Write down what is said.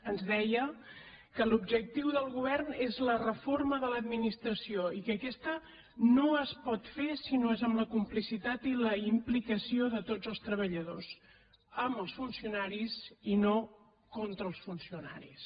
ens deia que l’objectiu del govern és la reforma de l’administració i que aquesta no es pot fer si no és amb la complicitat i la implicació de tots els treballadors amb els funcionaris i no contra els funcionaris